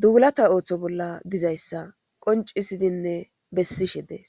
duulata ooththo bolla dizayssa qoncisidinne bessishe dees